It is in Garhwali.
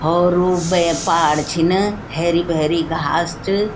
होर वो बया पहाड़ छिन हेरी-भेरी घास च।